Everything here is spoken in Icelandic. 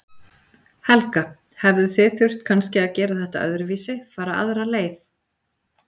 Helga: Hefðuð þið þurft kannski að gera þetta öðruvísi, fara aðra leið?